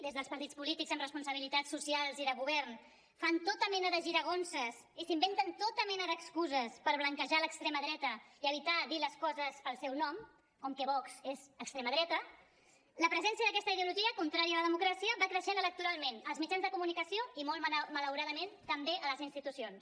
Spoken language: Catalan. des dels partits polítics amb responsabilitats socials i de govern fa tota mena de giragonses i que s’inventen tota mena d’excuses per blanquejar l’extrema dreta i evitar dir les coses pel seu nom com que vox és extrema dreta la presència d’aquesta ideologia contrària a la democràcia va creixent electoralment als mitjans de comunicació i molt malauradament també a les institucions